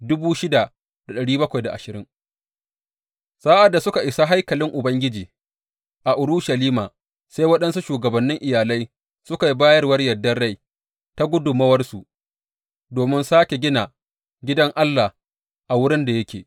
Sa’ad da suka isa haikalin Ubangiji a Urushalima, sai waɗansu shugabannin iyalai suka yi bayarwar yardar rai ta gudummawarsu domin sāke gina gidan Allah a wurin da yake.